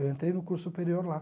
Eu entrei no curso superior lá.